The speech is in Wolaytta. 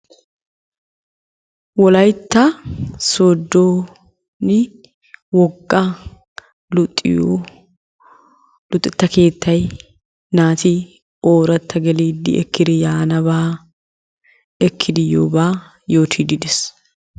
Wolayitta sooddooni wogga luxiyo luxetta keettay naati ooratta geliiddi ekkidi yaanabaa ekkidi yiyoobaa yootidi des.